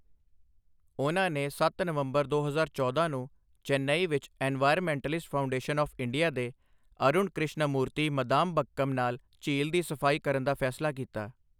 ਉਨ੍ਹਾਂ ਨੇ ਸੱਤ ਨਵੰਬਰ ਦੋ ਹਜ਼ਾਰ ਚੌਦਾਂ ਨੂੰ ਚੇਨਈ ਵਿੱਚ ਐਨਵਾਇਰਮੈਂਟਲਿਸਟ ਫਾਊਂਡੇਸ਼ਨ ਆਫ ਇੰਡੀਆ ਦੇ ਅਰੁਣ ਕ੍ਰਿਸ਼ਨਮੂਰਤੀਮਦਾਮਬਕਮ ਨਾਲ ਝੀਲ ਦੀ ਸਫ਼ਾਈ ਕਰਨ ਦਾ ਫੈਸਲਾ ਕੀਤਾ।